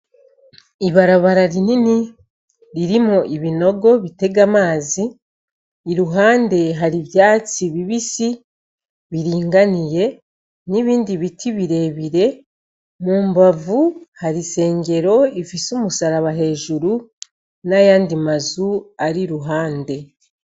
Ibarabara rinini ririmwo ibinogo bitega amazi, iruhande hari ivyatsi bibisi biringaniye, n'ibindi biti birebire, mu mbavu hari isengero ifise umusaraba hejuru n'ayandi mazu ari iruhande.